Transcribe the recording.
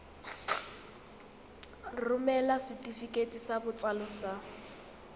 romela setefikeiti sa botsalo sa